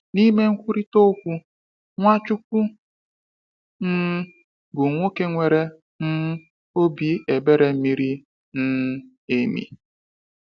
N’ime nkwurịta okwu, Nwachukwu um bụ nwoke nwere um obi ebere miri um emi.